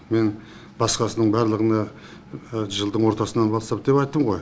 мен басқасының барлығына жылдың ортасынан бастап деп айттым ғой